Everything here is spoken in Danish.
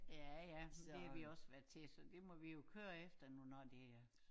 Ja ja men det har vi også været til så det må vi jo køre efter nu når det er